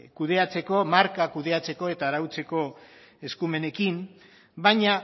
marka kudeatzeko eta arautzeko eskumenekin baina